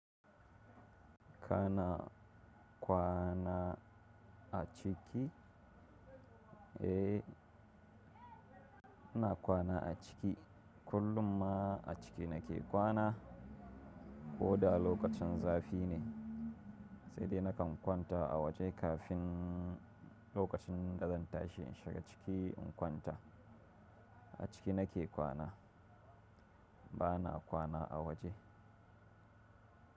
Kana kwana a ciki? Eh, ina kwana a ciki kullum ma a ciki nake kwana. Ko da lokacin zafi ne, sai dai nakan kwanta a waje kafin lokacin da zan tashi in shiga ciki in kwanta. A ciki nake kwana, ba na kwana a waje.